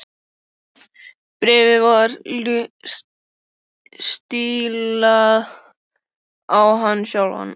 Bréfið var stílað á hann sjálfan.